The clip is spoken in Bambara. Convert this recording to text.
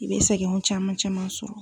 I bɛ sɛgini caman caman sɔrɔ